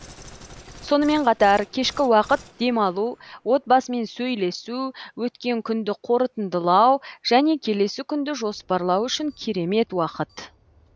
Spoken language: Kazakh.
сонымен қатар кешкі уақыт демалу отбасымен сөйлесу өткен күнді қорытындылау және келесі күнді жоспарлау үшін керемет уақыт